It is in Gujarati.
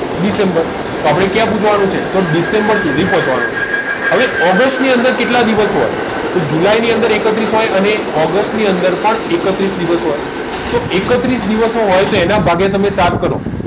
દિસેમ્બર તો આપદે ક્યાં પોચવાનુ છે તો દિસેમ્બર સુધી પોચવાનું છે આવે ઓગસ્ત ની કેટલા દિવસો હોય તો જુલાઈ ની અંદર એકત્રીસ હોય અને ઓગસ્ત ની પણ એકત્રીસ દિવસ હોય તો એકત્રીસ દિવસ હોય તો એના તમે ભાગીય સાત કરો